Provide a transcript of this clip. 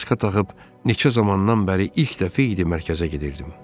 Maska taxıb neçə zamandan bəri ilk dəfə idi mərkəzə gedirdim.